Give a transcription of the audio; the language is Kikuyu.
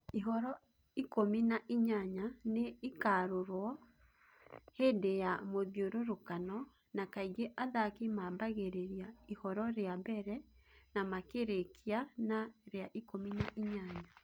ihoro ikũmi na inyanya nĩ ĩkarũrwo hĩndĩ ya mũthiũrũrũkano, na kaingĩ athaki maambagĩrĩria ihoro rĩa mbere na makĩrĩĩkia na rĩa ikũmi na inyanya.